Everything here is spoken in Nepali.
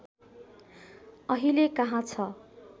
अहिले कहाँ छ